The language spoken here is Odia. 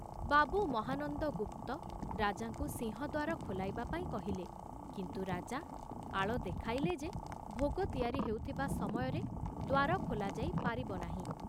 ବାବୁ ମହାନନ୍ଦ ଗୁପ୍ତ ରାଜାଙ୍କୁ ସିଂହଦ୍ଵାର ଖୋଲାଇବା ପାଇଁ କହିଲେ, କିନ୍ତୁ ରାଜା ଆଳ ଦେଖାଇଲେ ଯେ ଭୋଗ ତିଆରି ହେଉଥିବା ସମୟରେ ଦ୍ଵାର ଖୋଲାଯାଇ ପାରିବ ନାହିଁ।